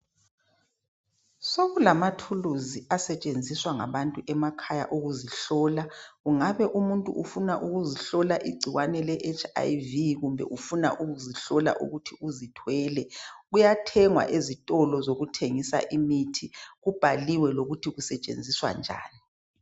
Sokulamathuluzi asetshenziswa ngabantu emakhaya ukuzihlola. Kungabe umuntu ufuna ukuzihlola igcikwane leHIv kumbe ufuna ukuzihlola ukuthi uzithwele kuyathengwa ezitolo zokuthengisa imithi kubhaliwe lokuthi kusetshenziswa njani.